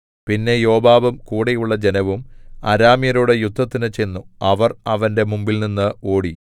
പിന്നെ യോവാബും കൂടെയുള്ള ജനവും അരാമ്യരോടു യുദ്ധത്തിന് ചെന്നു അവർ അവന്റെ മുമ്പിൽനിന്നു ഓടി